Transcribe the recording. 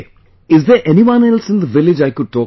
Is there anyone else in the village I could talk to